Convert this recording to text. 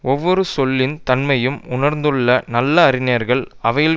ஒவ்வொரு சொல்லின் தன்மையும் உணர்ந்துள்ள நல்ல அறிஞர்கள் அவையில்